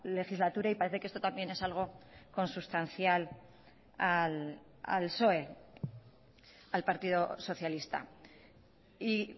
legislatura y parece que esto también es algo consustancial al psoe al partido socialista y